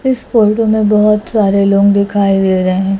इस फोटो में बहुत सारे लोग दिखाई दे रहे हैं।